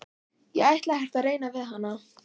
Ég ætla ekkert að reyna við hana.